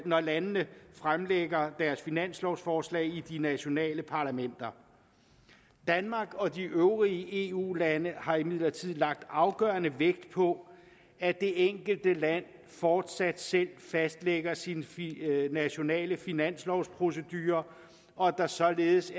når landene fremlægger deres finanslovforslag i de nationale parlamenter danmark og de øvrige eu lande har imidlertid lagt afgørende vægt på at det enkelte land fortsat selv fastlægger sin nationale finanslovprocedure og at der således